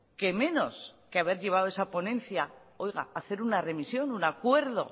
qué menos que haber llevado a esa ponencia hacer una remisión un acuerdo